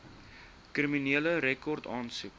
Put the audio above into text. kriminele rekord aansoek